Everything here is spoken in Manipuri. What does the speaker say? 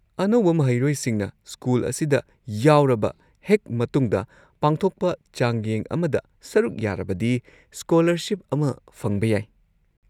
ꯑꯅꯧꯕ ꯃꯍꯩꯔꯣꯏꯁꯤꯡꯅ ꯁ꯭ꯀꯨꯜ ꯑꯁꯤꯗ ꯌꯥꯎꯔꯕ ꯍꯦꯛ ꯃꯇꯨꯡꯗ ꯄꯥꯡꯊꯣꯛꯄ ꯆꯥꯡꯌꯦꯡ ꯑꯃꯗ ꯁꯔꯨꯛ ꯌꯥꯔꯕꯗꯤ ꯁ꯭ꯀꯣꯂꯔꯁꯤꯞ ꯑꯃ ꯐꯪꯕ ꯌꯥꯏ꯫